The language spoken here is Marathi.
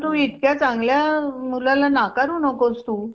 परंतु इतक्या चांगल्या अ मुलाला नाकारू नकोस तु